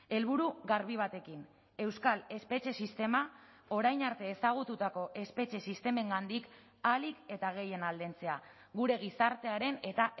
helburu garbi batekin euskal espetxe sistema orain arte ezagututako espetxe sistemengandik ahalik eta gehien aldentzea gure gizartearen eta